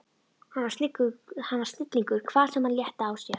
Hann var snillingur hvar sem hann létti á sér.